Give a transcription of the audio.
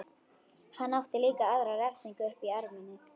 Hann átti líka aðra refsingu uppi í erminni.